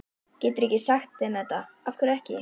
Geturðu ekki sagt þeim þetta. af hverju ekki?